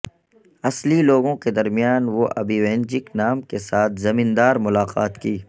اصلی لوگوں کے درمیان وہ ابیوینجک نام کے ساتھ زمیندار ملاقات کی